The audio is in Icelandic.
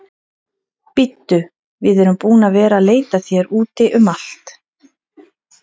Bíddu, við erum búin að vera að leita að þér úti um allt.